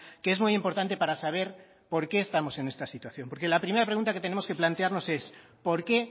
que es muy importante para saber por qué estamos en esta situación porque la primera pregunta que tenemos que plantearnos es por qué